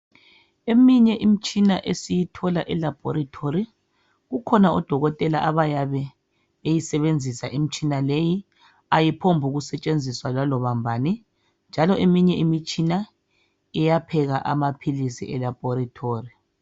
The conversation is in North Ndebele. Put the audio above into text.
Eminye imitshina esiyithola e laboratory kukhona odokotela abayabe beyisebenzisa imitshina leyi. Ayiphombukusetshenziswa laloba mbani njalo eminye imitshina iyapheka amaphilisi elaboratory